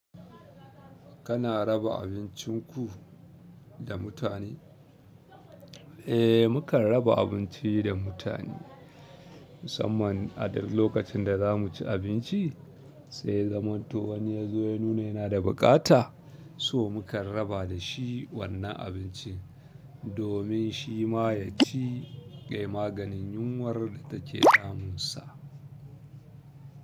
Kana raba abincinku da mutane? Eh, mu kan raba abinci da mutane musamman a duk lokacin da za mu ci abinci sai zaman to wani ya zo ya nuna yana da buƙata so mu kan raba da shi wannan abincin domin shi ma ya ci yayi maganin yunwar da take damunsa.